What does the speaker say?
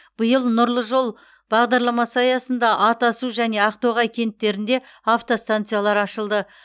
биыл нұрлы жол бағдарламасы аясында атасу және ақтоғай кенттерінде автостанциялар ашылды